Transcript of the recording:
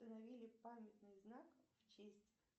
установили памятный знак в честь